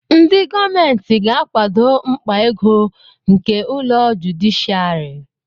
Ndị gọọmentị ga-akwado mkpa ego nke ụlọ jụdịshịàrị